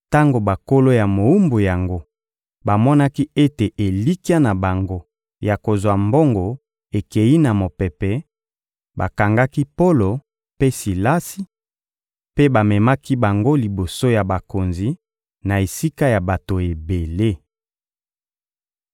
Tango bankolo ya mowumbu yango bamonaki ete elikya na bango ya kozwa mbongo ekeyi na mopepe, bakangaki Polo mpe Silasi, mpe bamemaki bango liboso ya bakonzi, na esika ya bato ebele.